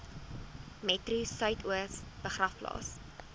metro suidoos begraafplaas